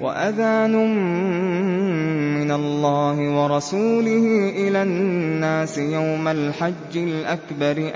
وَأَذَانٌ مِّنَ اللَّهِ وَرَسُولِهِ إِلَى النَّاسِ يَوْمَ الْحَجِّ الْأَكْبَرِ